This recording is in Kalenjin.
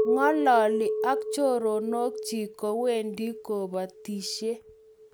Ng'ololi ak choronok chich kowendi kubatisie